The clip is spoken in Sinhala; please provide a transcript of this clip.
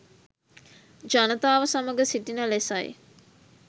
ජනතාව සමග සිටින ලෙසයි